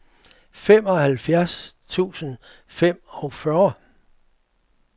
femoghalvfjerds tusind og femogfyrre